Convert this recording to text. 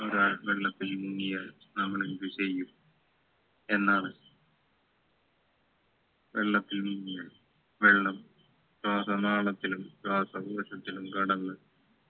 ഒരാൾ വെള്ളത്തിൽ മുങ്ങിയാൽ നമ്മളെന്ത് ചെയ്യും എന്നാണ് വെള്ളത്തിൽ മുങ്ങിയാൽ വെള്ളം ശ്വാസനാളത്തിലും ശ്വാസകോശത്തിലും കടന്ന്